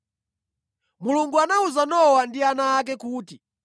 Mulungu anawuza Nowa ndi ana ake kuti,